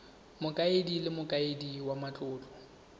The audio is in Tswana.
mokaedi le mokaedi wa matlotlo